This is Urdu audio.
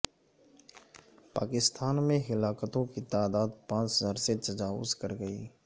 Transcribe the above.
پاکستان میں ہلاکتوں کی تعداد پانچ ہزار سے تجاوز کر گئی